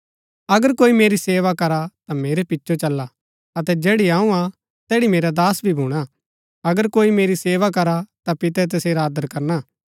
अगर कोई मेरी सेवा करा ता मेरै पिचो चला अतै जैड़ी अऊँ हा तैड़ी मेरा दास भी भूणा अगर कोई मेरी सेवा करा ता पितै तसेरा आदर करणा